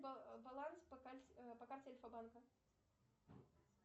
баланс по карте альфа банка